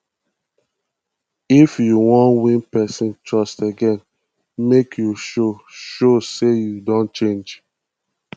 if you wan win pesin trust again make you show show sey you don change